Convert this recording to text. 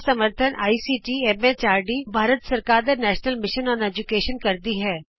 ਇਸ ਦਾ ਸਮਰੱਥਨ ਆਈਸੀਟੀ ਐਮ ਐਚਆਰਡੀ ਭਾਰਤ ਸਰਕਾਰ ਦੇ ਨੈਸ਼ਨਲ ਮਿਸ਼ਨ ਅੋਨ ਏਜੂਕੈਸ਼ਨ ਕਰਦੀ ਹੈ